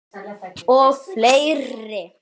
Og fleiri